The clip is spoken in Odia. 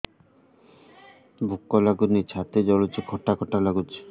ଭୁକ ଲାଗୁନି ଛାତି ଜଳୁଛି ଖଟା ଖଟା ଲାଗୁଛି